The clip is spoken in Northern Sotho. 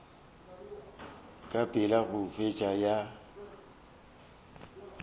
ka pela go feta ya